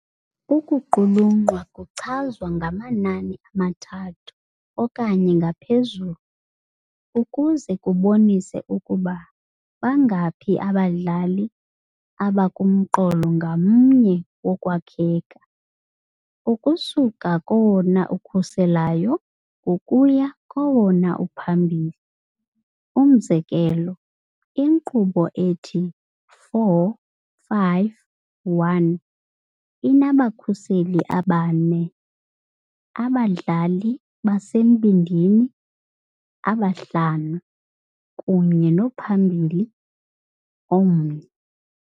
Ukuqulunqwa kuchazwa ngamanani amathathu okanye ngaphezulu ukuze kubonise ukuba bangaphi abadlali abakumqolo ngamnye wokwakheka, ukusuka kowona ukhuselayo ukuya kowona uphambili. Umzekelo, inkqubo ethi 4-5-1 inabakhuseli abane, abadlali basembindini abahlanu, kunye nomphambili omnye.